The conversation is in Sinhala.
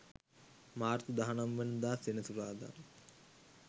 මාර්තු 19 වන දා සෙනසුරාදා